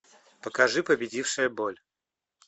покажи победившая боль